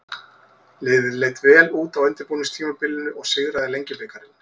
Liðið leit vel út á undirbúningstímabilinu og sigraði Lengjubikarinn.